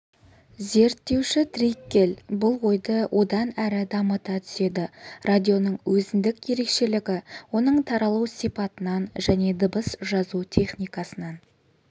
зерттеуші триккель бұл ойды одан әрі дамыта түседі радионың өзіндік ерекшелігі оның таралу сипатынан және дыбыс жазу техникасынан